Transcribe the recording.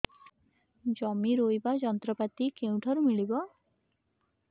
ଜମି ରୋଇବା ଯନ୍ତ୍ରପାତି କେଉଁଠାରୁ ମିଳିବ